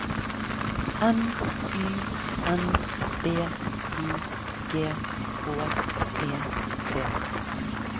M Y N D I G H E T